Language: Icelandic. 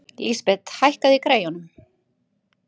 Lísabet, hækkaðu í græjunum.